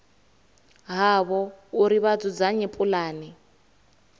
havho uri vha dzudzanye pulane